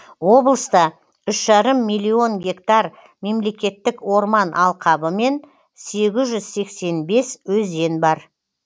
облыста үш жарым миллион гектар мемлекеттік орман алқабы мен сегіз жүз сексен бес өзен бар